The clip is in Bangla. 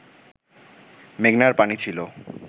মেঘনার পানি ছিল